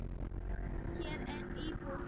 Hér er mín íbúð!